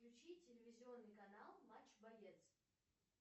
включи телевизионный канал матч боец